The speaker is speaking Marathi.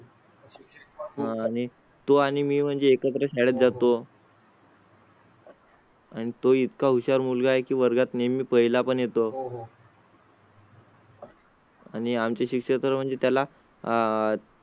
आणि तो आणि मी म्हणजे एखाद्या शाळेत जातो. आणि तो इतका हुशार मुलगा आहे की वर्गात नेहमी पहिला पण येतो. आणि आम ची शिक्षा तर म्हणजे त्याला आह